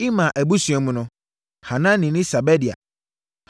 Imer abusua mu no: Hanani ne Sebadia.